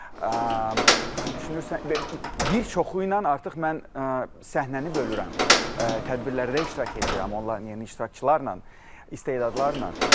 Və düşünürsən bir çoxu ilə artıq mən səhnəni bölürəm, tədbirlərdə iştirak eləyirəm onların yerinə iştirakçılarla, istedadlarla.